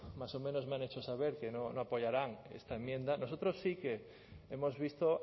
más o menos me han hecho saber que no apoyarán esta enmienda nosotros sí que hemos visto